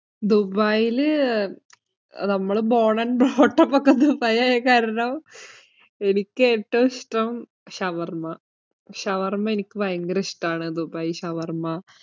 ദുബായില്, നമ്മൾ born and brought up ഒക്കെ ദുബായ് ആയ കാരണം, എനിക്ക് ഏറ്റവും ഇഷ്ടം ഷവർമ്മ. ഷവർമ്മ എനിക്ക് ഭയങ്കര ഇഷ്ടം ആണ്. ദുബായ് ഷവർമ്മ.